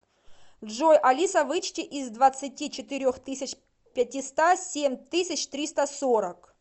джой алиса вычти из двадцати четырех тысяч пятиста семь тысяч триста сорок